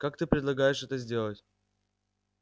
как ты предполагаешь это сделать